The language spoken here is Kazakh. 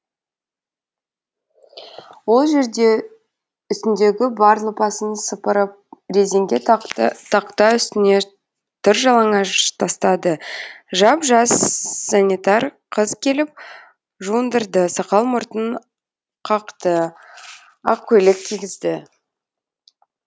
ол жерде үстіндегі бар лыпасын сыпырып резеңке тақтай үстіне тыр жалаңаш тастады жап жасссс санитар қыз келіп жуындырды сақал мұртын қақты ақ көйлек кигізді